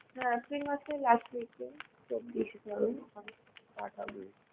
হ্যাঁ April মাসের last week তে start